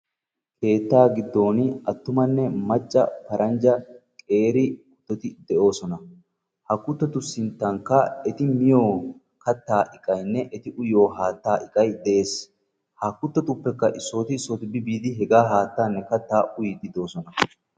keettaa giddon attumanne macca qeeri paranjja kuttiti de'oosona. ha kuttotu sinttankka eti miyo kataa iqaykka haataa uyyiyo iqay de'ees.